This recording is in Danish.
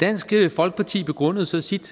dansk folkeparti begrundede så sit